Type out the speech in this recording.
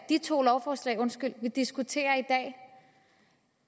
de to lovforslag vi diskuterer i dag